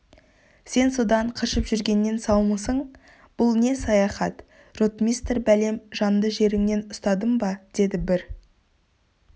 сен содан қашып жүргеннен саумысың бұл не саяхат ротмистр бәлем жанды жеріңнен ұстадым ба деді бір